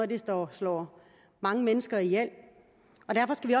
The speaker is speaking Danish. det der slår mange mennesker ihjel